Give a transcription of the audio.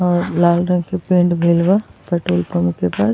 और लाल रंग के पेंट भइल बा पेट्रोल पम्प के पास।